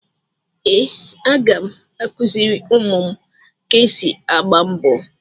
Ee, aga m akụziri ụmụ m ka esi agba mbọ.